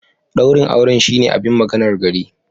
Daurin auren shine abin maganar gari.